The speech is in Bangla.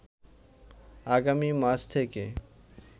আগামী মাস থেকে